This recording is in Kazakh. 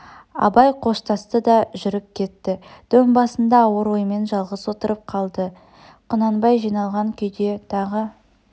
абай қоштасты да жүріп кетті дөң басында ауыр оймен жалғыз отырып қалды құнанбай қиналған күйде тағы